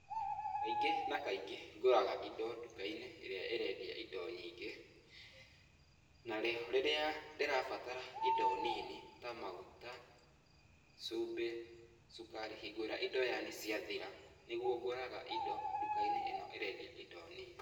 Kaingĩ na kaingĩ ngũraga indo nduka-inĩ ĩrĩa ĩrendia indo nyingĩ, na rĩo rĩrĩa ndĩrabatara indo nini, ta maguta, cumbĩ, cukari, hingo ĩrĩa indo yani indo ciathira, nĩguo ngũraga indo nduka-inĩ ĩno ĩrendia indo nini.